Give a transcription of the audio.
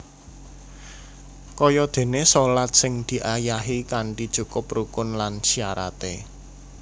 Kayadéné shalat sing diayahi kanthi cukup rukun lan syaraté